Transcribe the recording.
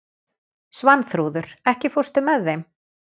Svanþrúður, ekki fórstu með þeim?